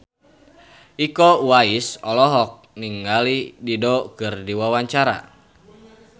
Iko Uwais olohok ningali Dido keur diwawancara